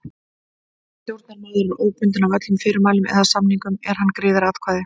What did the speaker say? Stjórnarmaður er óbundinn af öllum fyrirmælum eða samningum er hann greiðir atkvæði.